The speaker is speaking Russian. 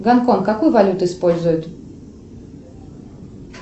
гонконг какую валюту использует